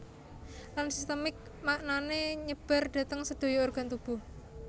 Lan sistemik maknane nyebar dhateng sedaya organ tubuh